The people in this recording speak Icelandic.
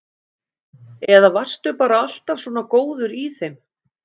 Eða varstu bara alltaf svona góður í þeim?